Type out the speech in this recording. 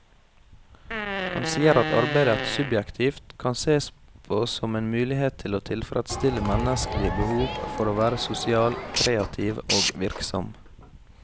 Han sier at arbeidet subjektivt kan sees på som en mulighet til å tilfredsstille menneskelige behov for å være sosial, kreativ og virksom.